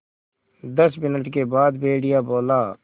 दस मिनट के बाद भेड़िया बोला